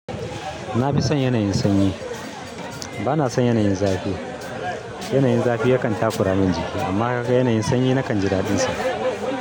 Na fi son yanayin sanyi. Bana son yanayin zafi. Yanayin zafi yakan takura min jiki amma ka ga yanayin sanyi nakan ji daɗinsa.